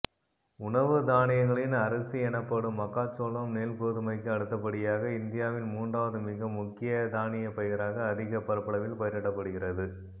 உணவு தானியங்களின் அரசி எனப்படும்மக்காச்சோளம் நெல் கோதுமைக்கு அடுத்தபடியாக இந்தியாவின் மூன்றாவது மிக முக்கிய தானியபயிராக அதிக பரப்பளவில் பயிரிடப்படுகிறது